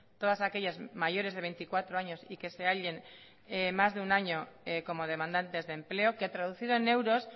todas aquellas mayores de veinticuatro años y que se hallen más de un año como demandantes de empleo que traducido en euros